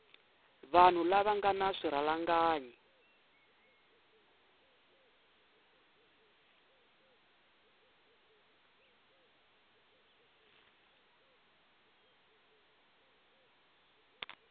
vanhu lava nga na swirhalanganyi